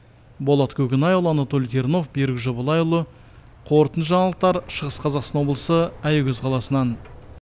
болат көкенайұлы анатолий тернов берік жобалайұлы қорытынды жаңалықтар шығыс қазақстан облысы аягөз қаласынан